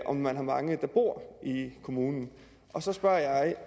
om man har mange der bor i kommunen og så spørger